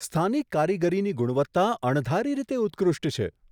સ્થાનિક કારીગરીની ગુણવત્તા અણધારી રીતે ઉત્કૃષ્ટ છે.